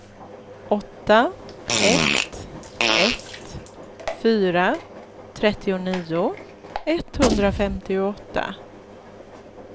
åtta ett ett fyra trettionio etthundrafemtioåtta